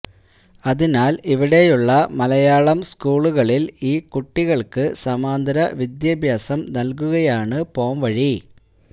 അതിനാൽ ഇവിടെയുള്ള മലയാളം സ്കൂളുകളിൽ ഈ കുട്ടികൾക്ക് സമാന്തര വിദ്യാഭ്യാസം നൽകുകയാണ് പോംവഴി